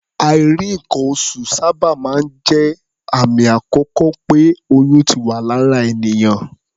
Àìrí nǹkan-oṣù sábà máa ń jẹ́ àmì àkọ́kọ́ pé oyún ti wà lára ènìyàn.